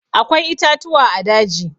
Akwai itatuwa a daji.